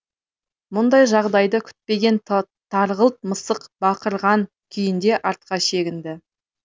мұндай жағдайды күтпеген тарғылт мысық бақырған күйінде артқа шегінді